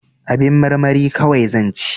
Abin marmari kawai zan ci